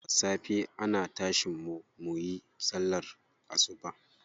Da safe ana tashin mu muyi sallar asuba.